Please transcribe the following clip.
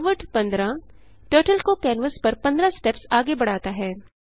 forward 15 turtle को canvas पर 15 steps आगे बढ़ाता है